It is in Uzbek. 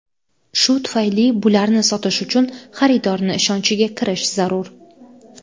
Shu tufayli bularni sotish uchun xaridorni ishonchiga kirish zarur.